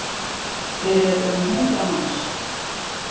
Hér eru um hundrað manns